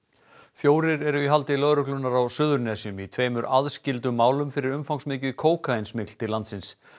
fjórir eru í haldi lögreglunnar á Suðurnesjum í tveimur aðskildum málum fyrir umfangsmikið kókaín smygl til landsins